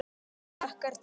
Hlakkar til.